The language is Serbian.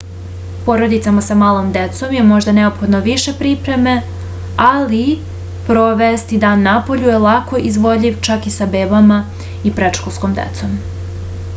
porodicama sa malom decom je možda neophodno više pripreme ali provesti dan napolju je lako izvodljiv čak i sa bebama i predškolskom decom